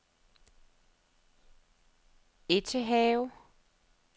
Ettehave